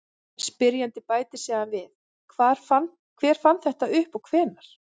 Spyrjandi bætir síðan við: Hver fann þetta upp og hvenær?